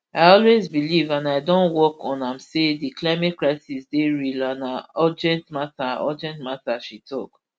i always believe and i don work on am say di climate crisis dey real and na urgent mata urgent mata she tok